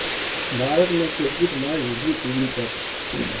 بھارت میں cricket match Zee TV پر